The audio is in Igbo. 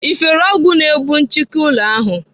Ị fere ọgwụ na-egbu nchịki ụlọ ahụ?